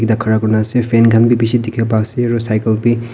khara kuri na ase fan khan b bishi dikhiwo pariase aro cycle b.